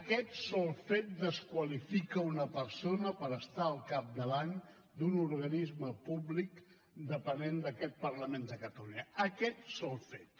aquest sol fet desqualifica una persona per estar al capdavant d’un organisme públic depenent d’aquest parlament de catalunya aquest sol fet